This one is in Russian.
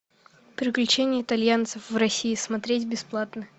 приключения итальянцев в россии смотреть бесплатно